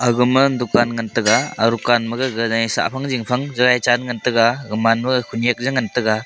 agama dukan ngan tega a rukan ma gaga jaji sah phang jingphang jaji chan ngan tega gaman ma khunyak ya ngan tega.